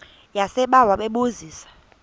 yasebawa bebu zisa